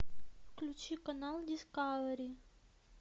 включи канал дискавери